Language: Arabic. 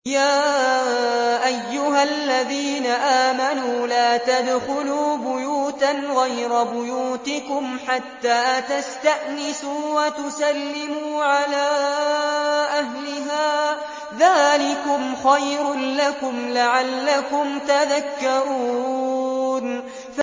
يَا أَيُّهَا الَّذِينَ آمَنُوا لَا تَدْخُلُوا بُيُوتًا غَيْرَ بُيُوتِكُمْ حَتَّىٰ تَسْتَأْنِسُوا وَتُسَلِّمُوا عَلَىٰ أَهْلِهَا ۚ ذَٰلِكُمْ خَيْرٌ لَّكُمْ لَعَلَّكُمْ تَذَكَّرُونَ